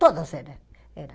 Todos eram.